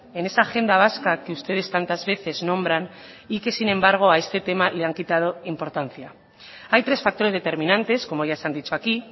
en esa agenda vasca que ustedes tantas veces nombran y que sin embargo a este tema le han quitado importancia hay tres factores determinantes como ya se han dicho aquí